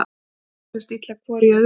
Leysast illa hvor í öðrum.